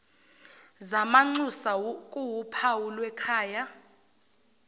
zamanxusa kuwuphawu lwekhaya